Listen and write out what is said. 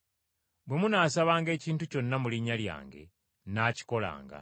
Bwe munaasabanga ekintu kyonna mu linnya lyange nnaakikolanga.”